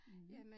Mh